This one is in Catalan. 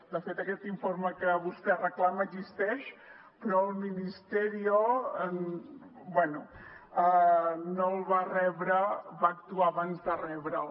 de fet aquest informe que vostè reclama existeix però el ministerio bé no el va rebre va actuar abans de rebre’l